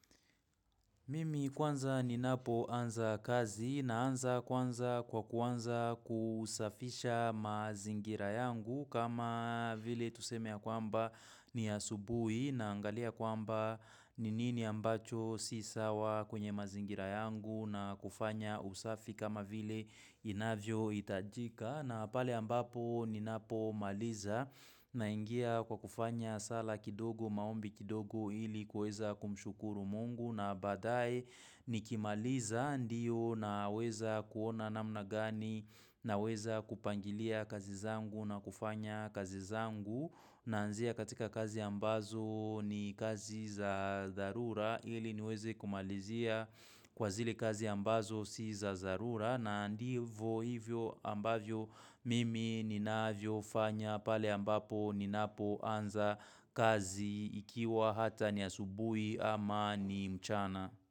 Mimi kwanza ninapoanza kazi naanza kwanza kwa kuanza kusafisha mazingira yangu kama vile tuseme ya kwamba ni ya asubuhi na angalia kwamba ni nini ambacho si sawa kwenye mazingira yangu na kufanya usafi kama vile inavyohitajika. Na pale ambapo ninapomaliza naingia kwa kufanya sala kidogo maombi kidogo ili kuweza kumshukuru mungu na baadaye nikimaliza ndio naweza kuona namna gani naweza kupangilia kazi zangu na kufanya kazi zangu naanzia katika kazi ambazo ni kazi za dharura ili niweze kumalizia kwa zile kazi ambazo si za dharura na ndivyo hivyo ambavyo mimi ninavyo fanya pale ambapo ninapo anza kazi ikiwa hata ni asubuhi ama ni mchana.